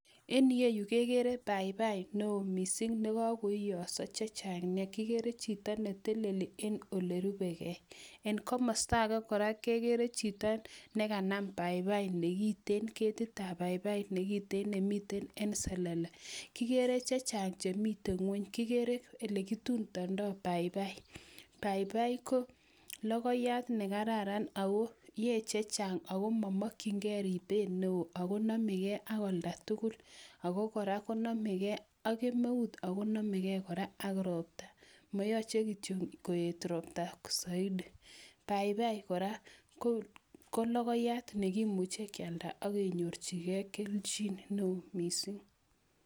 Eni ye yu kegere paipai neo mising ne kagoiyoso chechang nea. Kigere chito ne teleli en ole rubegei. En komasta age kora kegere chito nekanam paipai nekiten, ketitab paipai nekiten nemiten en selele. Kigere chechang chemiten ng'uny. Kigere ele kitutondoi paipai Paipai ko logoiyat ne kararan ago yoe chechang ago mamokchin ribet neo ago nemegei ak olda tugul. Ago gora namegei ak kemeut ago namegei kora ak robta. Mayoche kityo koet robta saidi. Paipai kora ko logoiyat nekimuche kialda agenyorchigei kelchin neo mising.